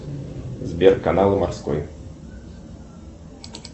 сбер канал морской